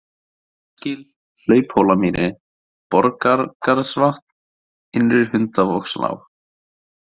Hólsgil, Hlauphólamýri, Borgargarðsvatn, Innri-Hundavogslág